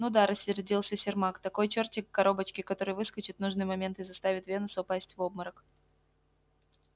ну да рассердился сермак такой чёртик в коробочке который выскочит в нужный момент и заставит венуса упасть в обморок